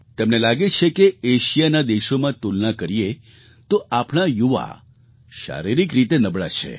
તેમને લાગે છે કે એશિયાના દેશોમાં તુલના કરીએ તો આપણા યુવા શારીરિક રીતે નબળા છે